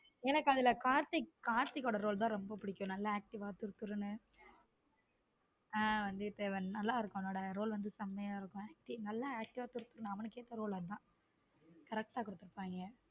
எனக்கு அதுல கார்த்திக் கார்த்திக் role தான் எனக்கு ரொம்ப பிடிக்கும் நல்ல active ஆ துறுதுறு என்று வந்தைய தேவன்நல்ல இருக்கும் அவனோ role வந்து செமையா இருக்கும acting நல்லா active ஆ துரு துருனு அவனுக்கு ஏத்த role அதுதான் correct ஆ கொடுத்து இருப்பாங்க.